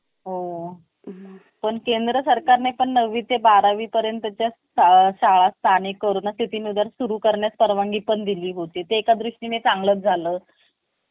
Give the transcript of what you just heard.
पूर्ण आत्मविश्वासाने जा आपण ज्या प्रकारे चालता बसता बोलता आणि कपडे घालता ते सर्व interview घेणार्‍या व्यक्तींवर प्रभाव पडत असते म्हणून आत्मा विश्वास बाळगा आणि घाबरू नका लक्ष्यात ठेवा मुलाखत